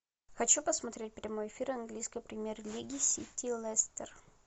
хочу посмотреть прямой эфир английской премьер лиги сити лестер